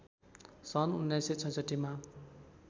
सन् १९६६ मा